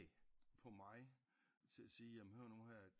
På mig til at sige jamen hør nu her